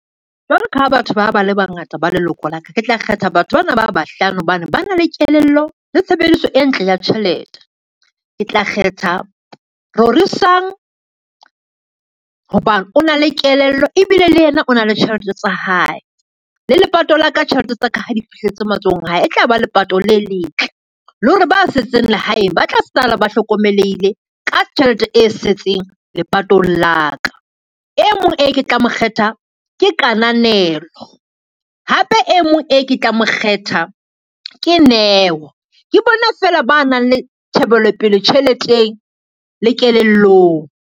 Jwalo ka ha batho ba ba le bangata ba leloko la ka, ke tla kgetha batho bana ba bahlano hobane ba na le kelello le tshebediso e ntle ya tjhelete. Ke tla kgetha Rorisang ho ba o na le kelello ebile le yena o na le tjhelete tsa hae, le lepato la ka thelete tsa ka ha di fihletse matsohong a hae e tla ba lepato le letle le hore ba setseng lehaeng ba tla sala, ba hlokomelehile ka tjhelete e setseng lepatong la ka. E mong e ke tlang ho kgetha ke Kananelo, hape e mong e ke tlang ho kgetha ke Neo ke bona fela ba nang le tjhebelopele tjheleteng le kelellong.